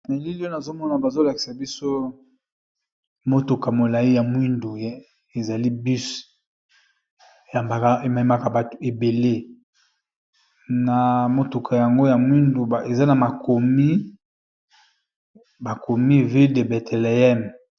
Na elili nazomona , bazolakisa biso motuka ya molai ya mwindu ezali bus, ememaka batu ebele ekomami étoile de Bethléem.